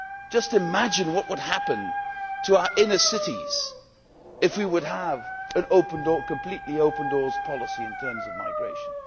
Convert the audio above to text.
Just imagine what would happen to our inner cities if we were to have a completely open door policy in terms of migration.